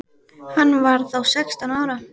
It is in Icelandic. Hann var þá sextán ára.